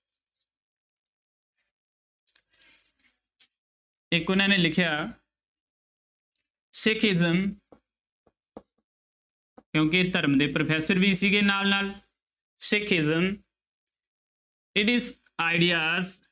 ਇੱਕ ਉਹਨਾਂ ਨੇ ਲਿਖਿਆ ਸਿਖਿਸਮ ਕਿਉਂਕਿ ਧਰਮ ਦੇ ਪ੍ਰੋਫੈਸਰ ਵੀ ਸੀਗੇ ਨਾਲ ਨਾਲ ਸਿਖਿਸਮ it is ideas